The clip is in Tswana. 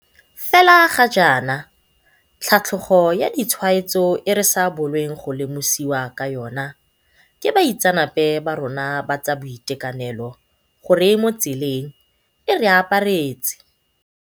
Fela ga jaana, tlhatlhogo ya ditshwaetso e re sa bolong go lemosiwa ka yona ke baitseanape ba rona ba tsa boitekanelo gore e mo tseleng, e re aparetse.